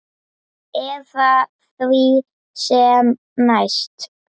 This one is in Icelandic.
Eða því sem næst.